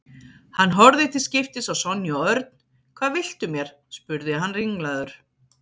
Hann horfði til skiptis á Sonju og Örn. Hvað viltu mér? spurði hann ringlaður.